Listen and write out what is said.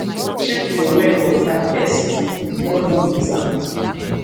check your well water first before you use am